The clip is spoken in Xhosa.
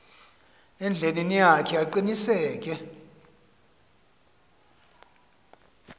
endleleni yakhe aqiniseke